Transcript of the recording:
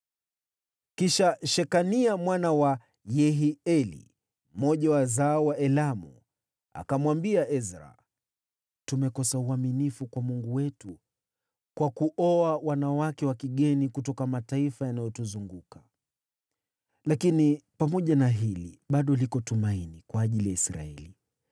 Kisha Shekania mwana wa Yehieli, mmoja wa wazao wa Elamu, akamwambia Ezra, “Tumekosa uaminifu kwa Mungu wetu kwa kuoa wanawake wa kigeni kutoka mataifa yanayotuzunguka. Lakini pamoja na hili, bado liko tumaini kwa ajili ya Israeli.